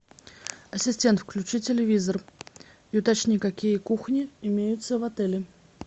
ассистент включи телевизор и уточни какие кухни имеются в отеле